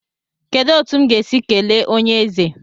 Kedụ etu m ga-esi kelee onyeeze?